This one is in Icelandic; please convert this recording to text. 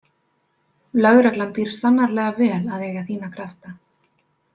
Lögreglan býr sannarlega vel að eiga þína krafta.